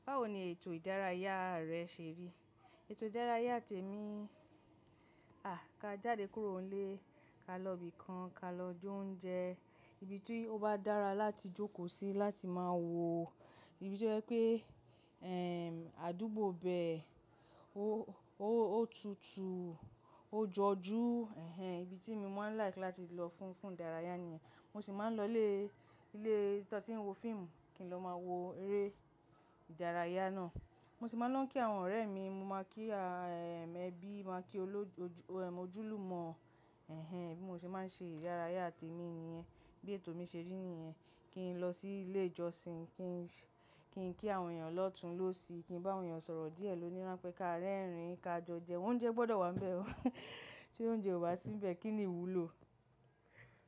Báwo ni ètò ìdárayá rẹ ṣe rí? Ètò ìdárayá ti èmi, ká jáde kúrò nílé, ká lọ ibìkan, ká lọ jẹ oúnjẹ, ibi tí ó bá dára láti jókòó sí láti máa wo, ìbí tí o jé àdúgbò bẹ́ẹ̀, ó tutù, ó jọjú, ẹhẹn ibi tí mo máa ń like láti lọ fún, fún ìdárayá nìyẹn. Mo sì máa ń lọ ilé, ilé tí wọ́n ti ń wo fíìmù kí n lọ máa wo eré ìdárayá náà. Mo sì máa ń lo kí àwọn ọ̀rẹ́ mi, mo máa kí a ẹbí, máa kí ojúlùmọ̀, ẹhẹn bí mo ṣe máa ń ṣe ìdárayá te èmi nìyẹn. Bí ètò mi ṣe rí nìyẹn. Kí n lọ sí ilé ìjọsìn, kí n ṣe, kí n kí àwọn èèyàn lọ̀tún lósì, kí n bá àwọn èèyàn sọ̀rọ̀ díẹ̀ lóní rán pé ká rẹ́rìn-ín, ká jo joúnjẹ, oúnjẹ gbọ́dọ̀ wà níbẹ̀ o. Tí oúnjẹ ò bá síbẹ̀ kí ni ìwúlò?